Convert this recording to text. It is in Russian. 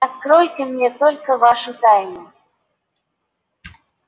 откройте мне только вашу тайну